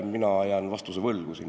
Mina jään siin vastuse võlgu.